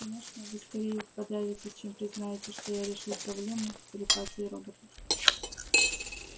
конечно вы скорее подавитесь чем признаете что я решил проблему телепатии роботов